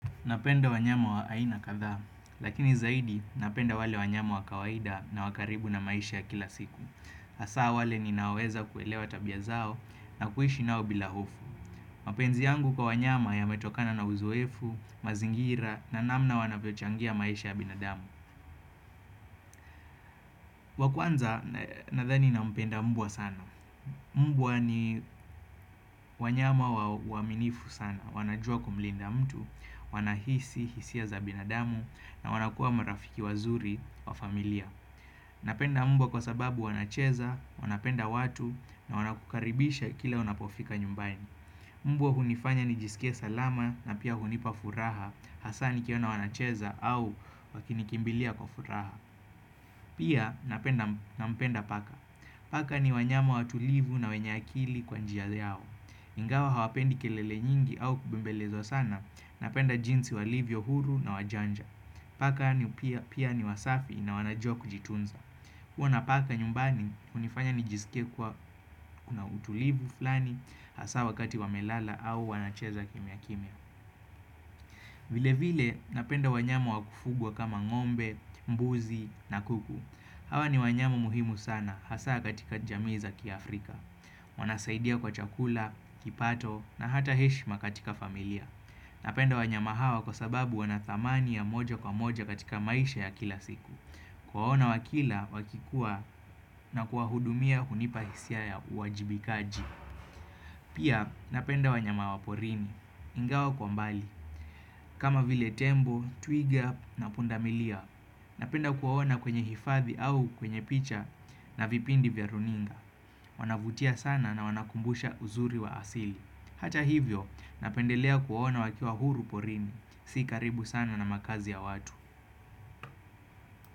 Napenda wanyama wa aina kadhaa, lakini zaidi napenda wale wanyama wa kawaida na wakaribu na maisha ya kila siku. Hasa wale ni naweza kuelewa tabia zao na kuishi nao bila hofu. Mapenzi yangu kwa wanyama ya metokana na uzoefu, mazingira na namna wanavyo changia maisha ya binadamu. Wa kwanza, nadhani na mpenda mbwa sana. Mbwa ni wanyama wa uaminifu sana. Wanajua kumlinda mtu, wanahisi hisia za binadamu na wanakua marafiki wazuri wa familia Napenda mbwa kwa sababu wanacheza, wanapenda watu na wanakukaribisha kila unapofika nyumbani. Mbwa hunifanya ni jisike salama na pia hunipa furaha. Hasa nikiona wanacheza au wakinikimbilia kwa furaha. Pia napenda nampenda paka. Paka ni wanyama watulivu na wenye akili kwa njia yao. Ingawa hawapendi kelele nyingi au kubembelezwa sana na penda jinsi walivyo huru na wajanja. Paka ni pia pia ni wasafi na wanajua kujitunza. Kuwa napaka nyumbani hunifanya nijisike kuwa kuna utulivu fulani hasa wakati wamelala au wanacheza kimia kimia. Vile vile napenda wanyama wakufugwa kama ngo'mbe, mbuzi na kuku. Hawa ni wanyama muhimu sana hasa katika jamii za ki Afrika. Wanasaidia kwa chakula, kipato na hata heshima katika familia. Napenda wanyama hawa kwa sababu wanathamani ya moja kwa moja katika maisha ya kila siku. Kuwaona wakila wakikua na kuwahudumia hunipahisia ya uwajibikaji. Pia napenda wanyama waporini, ingawa kwa mbali. Kama vile tembo, twiga na pundamilia. Napenda kuwaona kwenye hifadhi au kwenye picha na vipindi vya runinga. Wanavutia sana na wanakumbusha uzuri wa asili. Hata hivyo, napendelea kuwaona wakiwa huru porini. Si karibu sana na makazi ya watu.